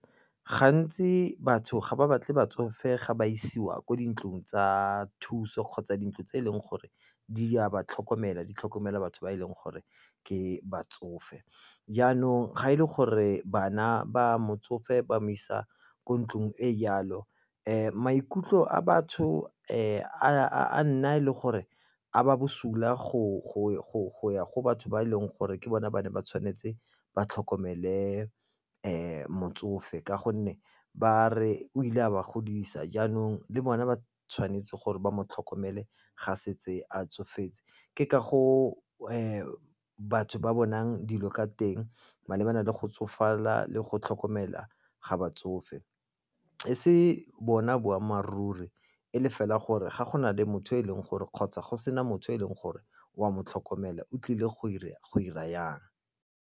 Gantsi batho ga ba batle batsofe ga ba isiwa ko dintlong tsa thuso kgotsa dintlo tse e leng gore di a ba tlhokomela di tlhokomela batho ba e leng gore ke batsofe. Jaanong ga e le gore bana ba motsofe ba mo isa ko ntlong e jalo maikutlo a batho a nna le gore a ba bosula go ya go batho ba e leng gore ke bone ba ne ba tshwanetse ba tlhokomela motsofe ka gonne ba re o ile a ba godisa, jaanong le bone ba tshwanetse gore ba mo tlhokomele ga se tse a tsofetse. Ke ka go batho ba bonang dilo ka teng malebana le go tsofala le go tlhokomela ga batsofe, e se bona boammaaruri e le fela gore ga go na le motho e leng gore kgotsa go sena motho e leng gore o a mo tlhokomela o tlile go 'ira jang.